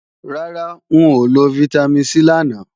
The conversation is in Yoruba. Rárá, n ò lo Vitamin C làná